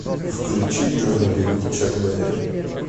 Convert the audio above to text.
включи джонни би гуд чак бэрри